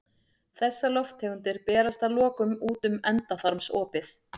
Þessar lofttegundir berast að lokum út um endaþarmsopið.